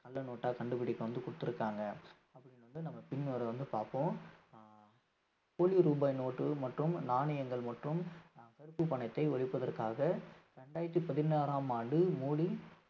கள்ள note ஆ கண்டுபிடிக்க வந்து குடுத்திருக்காங்க அது நாம பாப்போம் போலி ரூபாய் நோட்டு மற்றும் நாணயங்கள் மற்றும் ஆஹ் கருப்பு பணத்தை ஒழிப்பதற்காக இரண்டாயிரத்தி பதினாறாம் ஆண்டு மோடி